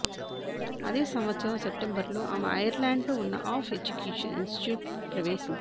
అదే సంవత్సరం సెప్టెంబర్లో ఆమె ఐర్లాండ్లో ఉన్న ఆఫ్ ఎడ్యుకేషన్ ఇన్స్టిట్యూట్ ప్రవేశించింది